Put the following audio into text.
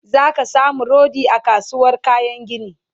zaka samu rodi a kasuwar kayan gini